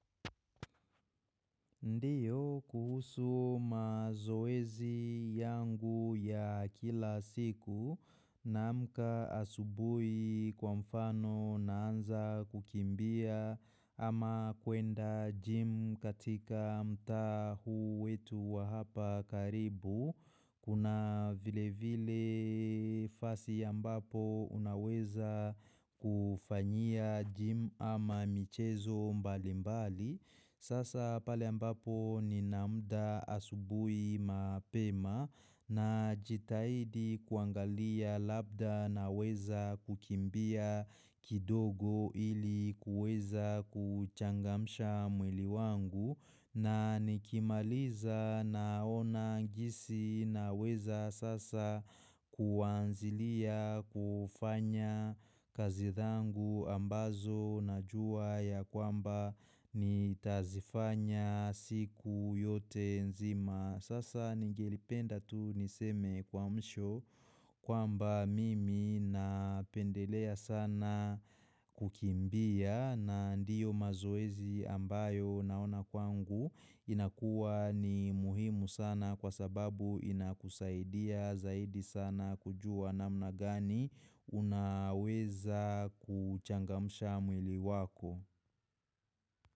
Ndio kuhusu mazoezi yangu ya kila siku naamka asubuhi kwa mfano naanza kukimbia ama kuenda gym katika mtaa huu wetu wa hapa karibu. Kuna vile vile vazi ya ambapo unaweza kufanyia gym ama michezo mbali mbali. Sasa pale ambapo nina muda asubuhi mapema na jitahidi kuangalia labda na weza kukimbia kidogo ili kuweza kuchangamsha mwili wangu. Na nikimaliza naona jinisi na weza sasa kuanzilia kufanya kazi zangu ambazo na jua ya kwamba nitazifanya siku yote nzima. Sasa ningelipenda tu niseme kwa msho kwamba mimi napendelea sana kukimbia na ndio mazoezi ambayo naona kwangu inakuwa ni muhimu sana kwa sababu inakusaidia zaidi sana kujua namna gani unaweza kuchangamsha mwili wako.